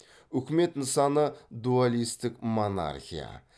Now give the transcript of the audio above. үкімет нысаны дуалистік монархия